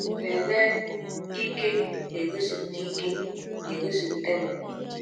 Lelee ike na-egosipụta ike na-egosipụta n’ụwa!